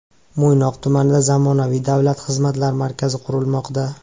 Mo‘ynoq tumanida zamonaviy Davlat xizmatlari markazi qurilmoqda .